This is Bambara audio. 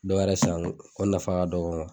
Dɔwɛrɛ san ko nafa ka dɔgɔ